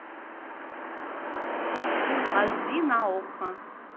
фул аш ди на окко